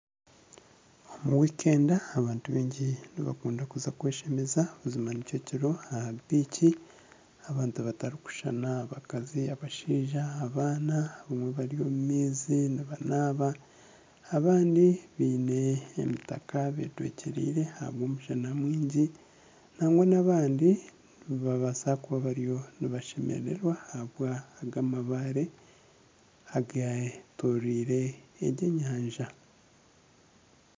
Omu wikenda abantu baingi nibakunda kuza kweshemeza buzima nikyo kiriho aha biiki abantu batarikushushana abakazi, abashaija, abaana abamwe bari omu maizi nabanaaba abandi baine emitaka betwekyereire ahabw'omushana mwingi nangwa n'abandi nibabaasa kuba bariyo nibashemererwa ahabw'ago amabaare agetorirwe egi enyanja.